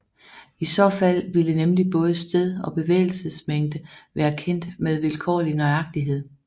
I så fald ville nemlig både sted og bevægelsesmængde være kendt med vilkårlig nøjagtighed